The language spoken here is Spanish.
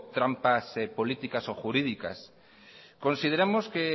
trampas políticas o jurídicas consideramos que